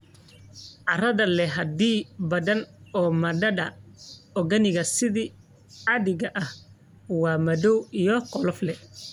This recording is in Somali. Carrada leh xaddi badan oo maadada organic sida caadiga ah waa madow iyo qolof leh.